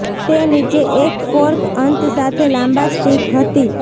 તે નીચે એક ફોર્ક અંત સાથે લાંબા સ્ટીક હતી